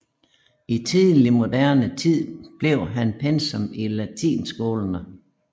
I tidlig moderne tid blev han pensum i latinskolerne